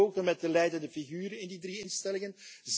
Ik heb gesproken met de leidende figuren in die drie instellingen.